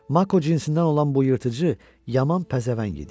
Mako cinsindən olan bu yırtıcı yaman pəzəvəng idi.